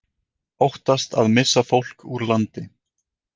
Óttast að missa fólk úr landi